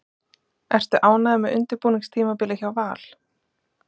Ertu ánægður með undirbúningstímabilið hjá Val?